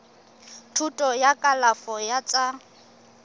thuto ya kalafo ya tsa